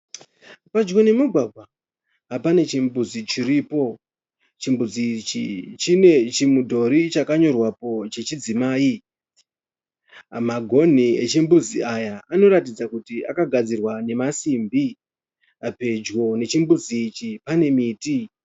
Pedyo nemugwagwa, pane chimbuzi chiripo. Chimbuzi ichi chine chimudhori chakanyorwapo chechidzimai. Magoni echimbuzi ichi akagadzirwa nemasimbi. Pedyo nechimbuzi ichi pane miti.